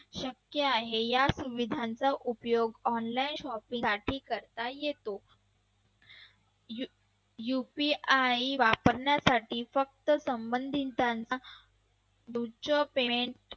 शक्य आहे या सुविधांचा उपयोग online shopping साठी करता येतो. UPI वापरण्यासाठी फक्त संबंधितांना